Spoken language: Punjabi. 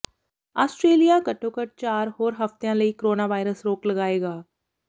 ਆਸਟਰੇਲੀਆ ਘੱਟੋ ਘੱਟ ਚਾਰ ਹੋਰ ਹਫਤਿਆਂ ਲਈ ਕੋਰੋਨਾਵਾਇਰਸ ਰੋਕ ਲਗਾਏਗਾ